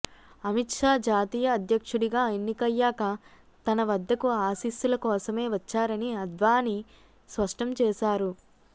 అమిత్షా జాతీయ అధ్యక్షుడిగా ఎన్నికయ్యాక తన వద్దకు ఆశీస్సుల కోసమే వచ్చారని అద్వానీ స్పష్టం చేశారు